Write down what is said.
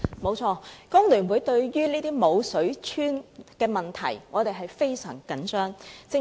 沒錯，工聯會對於這些"無水村"的問題非常關注。